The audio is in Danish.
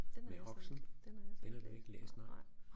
Ved Oxen den har du ikke læst nej